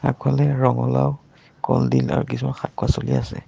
আগফালে ৰঙালাও কলডিল আৰু কিছুমান শাক-পাছলি আছে।